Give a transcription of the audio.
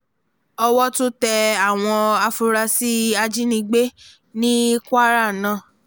owó tún tẹ àwọn afurasí ajínigbé ní kwara náà